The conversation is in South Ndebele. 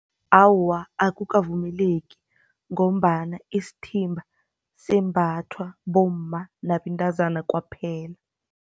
Awa, akukavumeleki ngombana isithimba sembathwa bomma nabentazana kwaphela.